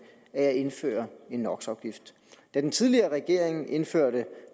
af at indføre en no da den tidligere regering indførte